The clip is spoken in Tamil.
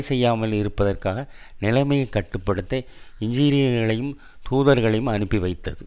செய்யாமல் இருப்பதற்காக நிலைமையை கட்டு படுத்த என்ஜினீயர்களையும் தூதர்களையும் அனுப்பிவைத்தது